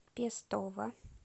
пестово